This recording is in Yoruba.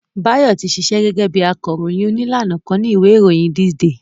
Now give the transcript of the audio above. Báyọ̀ ti ṣíṣe gẹ́gẹ́ bí akọròyìn òní lánàá kan ni ìwé ìròyìn This day